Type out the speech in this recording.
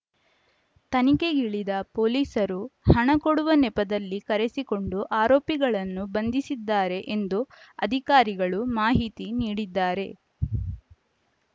ತನಿಖೆಗಿಳಿದ ಪೊಲೀಸರು ಹಣ ಕೊಡುವ ನೆಪದಲ್ಲಿ ಕರೆಸಿಕೊಂಡು ಆರೋಪಿಗಳನ್ನು ಬಂಧಿಸಿದ್ದಾರೆ ಎಂದು ಅಧಿಕಾರಿಗಳು ಮಾಹಿತಿ ನೀಡಿದ್ದಾರೆ